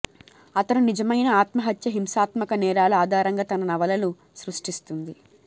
అతను నిజమైన ఆత్మహత్య హింసాత్మక నేరాలు ఆధారంగా తన నవలలు సృష్టిస్తుంది